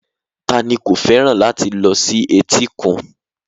Ta ni kò fẹ́ràn láti lọ sí etíkun